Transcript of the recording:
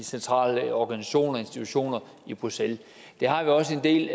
centrale organisationer og institutioner i bruxelles det har vi også i